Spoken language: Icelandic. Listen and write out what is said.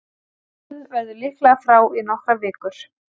Allen verður líklega frá í nokkrar vikur.